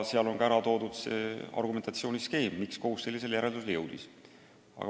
Seal on ära toodud argumentatsiooni skeem, miks kohus sellisele järeldusele jõudis.